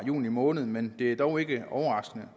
juni måned men det er dog ikke overraskende